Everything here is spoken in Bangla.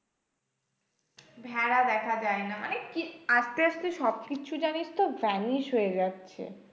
ভেড়া দেখা যায় না মানে কি, আস্তে আস্তে সব কিছু জানিস তো vanish হয়ে যাচ্ছে।